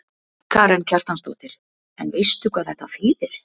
Karen Kjartansdóttir: En veistu hvað þetta þýðir?